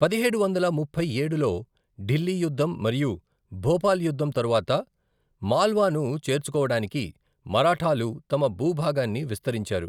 పదిహేడు వందల ముప్పై ఏడులో ఢిల్లీ యుద్ధం మరియు భోపాల్ యుద్ధం తరువాత మాల్వాను చేర్చుకోవడానికి మరాఠాలు తమ భూభాగాన్ని విస్తరించారు.